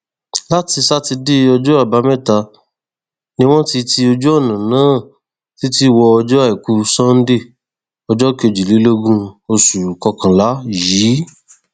láti sátidé ọjọ àbámẹta ni wọn ti ti ojúnà náà títí wọ ọjọ àìkú sànńdé ọjọ kejìlélógún oṣù kọkànlá yìí